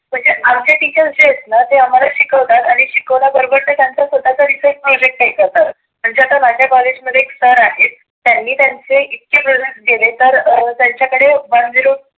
म्हणजे आमचे टीचर्स जे आहेत ना ते आम्हाला आम्हाला शिकावतात आणि शिकवल्या बरोबर ते विचार स्वतःचा projects ही करतात. म्हणजे आता माझ्या कॉलेज मध्ये एक sir आहे त्यांनी त्यांचे इतके projects केले तर त्याच्याकडे one zero two